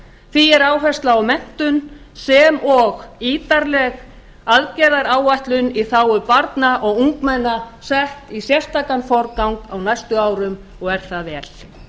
því er áhersla á menntun sem og ítarleg aðgerðaáætlun í þágu barna og ungmenna sett í sérstakan forgang á næstu árum og er það vel